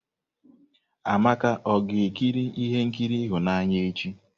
Amaka ọ ga-ekiri ihe nkiri ịhụnanya echi?